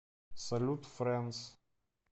салют френдс